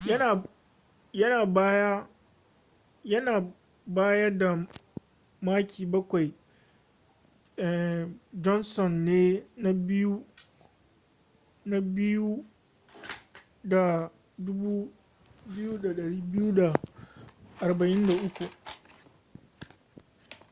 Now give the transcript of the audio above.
yana baya da maki bakwai johnson ne na biyu da 2,243